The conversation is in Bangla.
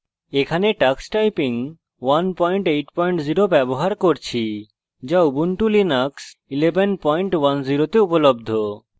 এখানে tux typing 180 ব্যবহার করছি যা ubuntu linux 1110 তে উপলব্ধ